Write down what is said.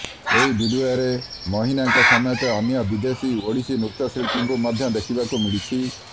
ଏହି ଭିଡିଓରେ ମହିନାଙ୍କ ସମେତ ଅନ୍ୟ ବିଦେଶୀ ଓଡ଼ିଶୀ ନୃତ୍ୟଶିଳ୍ପୀଙ୍କୁ ମଧ୍ୟ ଦେଖିବାକୁ ମିଳିଛି